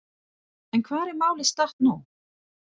En hvar er málið statt nú?